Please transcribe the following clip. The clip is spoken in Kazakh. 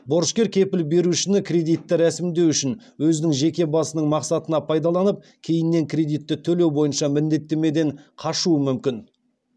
борышкер кепіл берушіні кредитті ресімдеу үшін өзінің жеке басының мақсатына пайдаланып кейіннен кредитті төлеу бойынша міндеттемеден қашуы мүмкін